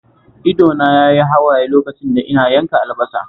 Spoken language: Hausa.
Ido na yayi hawaye lokacin da ina yanka albasar